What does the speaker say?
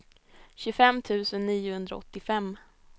tjugofem tusen niohundraåttiofem